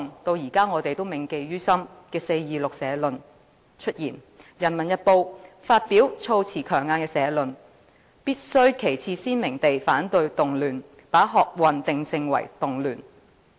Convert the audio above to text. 及後出現我們至今仍然銘記於心的"四二六社論"，就是人民日報發表措辭強硬的社論——"必須旗幟鮮明地反對動亂"，把學運定性為動亂。